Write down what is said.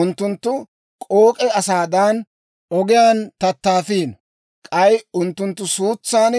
Unttunttu k'ook'e asaadan, ogiyaan tattaafiino; k'ay unttunttu suutsan